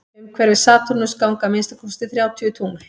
umhverfis satúrnus ganga að minnsta kosti þrjátíu tungl